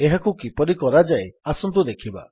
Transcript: ଏହାକୁ କିପରି କରାଯାଏ ଆସନ୍ତୁ ଦେଖିବା